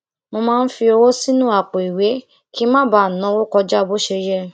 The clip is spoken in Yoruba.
mo máa ń fi owó sínú àpò ìwé kí n má bàa náwó kọjá bó ṣe yẹ